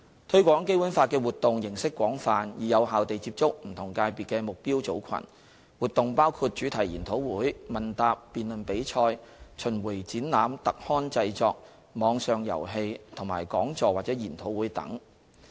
推廣《基本法》的活動形式廣泛，以有效地接觸不同界別的目標組群，活動包括主題研討會、問答及辯論比賽、巡迴展覽、特刊製作、網上遊戲及講座或研討會等。